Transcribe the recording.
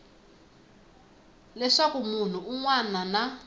leswaku munhu un wana na